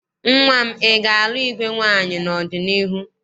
Nnwa m, ị ga-alụ igwe nwaanyị n'ọdịniihu?